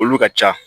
Olu ka ca